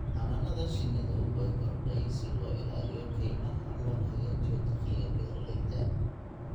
Xannaanada shinnidu way korodhay si loo ilaaliyo kaymaha loona hagaajiyo dakhliga beeralayda.